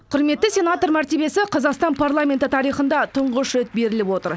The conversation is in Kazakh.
құрметті сенатор мәртебесі қазақстан парламенті тарихында тұңғыш рет беріліп отыр